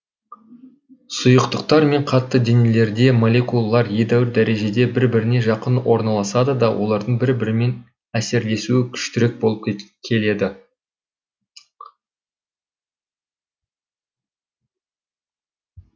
сұйықтықтар мен қатты денелерде молекулалар едәуір дәрежеде бір біріне жақын орналасады да олардың бір бірімен әсерлесуі күштірек болып келеді